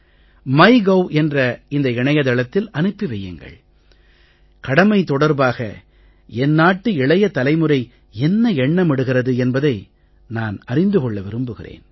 MyGov என்ற இந்த இணையதளத்தில் அனுப்பி வையுங்கள் கடமை தொடர்பாக என் நாட்டு இளைய தலைமுறை என்ன எண்ணமிடுகிறது என்பதை நான் அறிந்து கொள்ள விரும்புகிறேன்